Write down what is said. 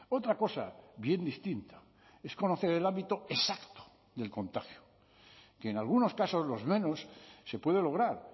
otra cosa bien distinta es conocer el ámbito exacto del contagio que en algunos casos los menos se puede lograr